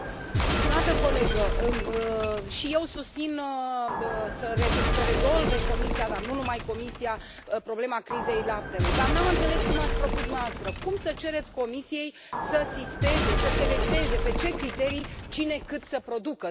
Stimată colegă, și eu susțin să rezolve Comisia, dar nu numai Comisia, problema crizei laptelui, dar nu am înțeles cum ați propus dumneavoastră cum să cereți Comisiei să sisteze, să selecteze, pe ce criterii, cine, cât să producă?